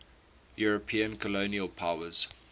european colonial powers